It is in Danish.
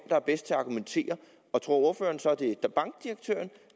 er bedst til at argumentere tror ordføreren så at det er bankdirektøren